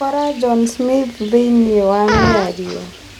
Kora John Smith thĩinĩĩ wa mĩarĩo